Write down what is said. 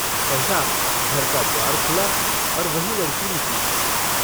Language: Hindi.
सहसा घर का द्वार खुला और वही लड़की निकली।